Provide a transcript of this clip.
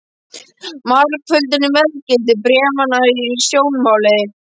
Margföldun á verðgildi bréfanna var í sjónmáli.